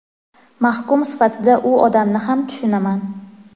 Mahkum sifatida u odamni ham tushunaman.